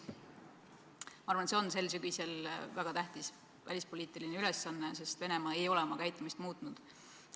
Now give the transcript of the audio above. Ma arvan, et see on sel sügisel väga tähtis välispoliitiline ülesanne, sest Venemaa ei ole oma käitumist muutnud.